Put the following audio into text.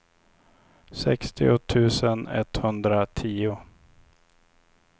sextio tusen etthundratio